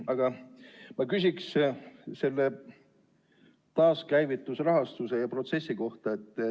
Aga ma küsin selle taaskäivitusrahastuse ja protsessi kohta.